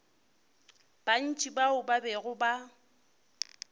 bantši bao ba bego ba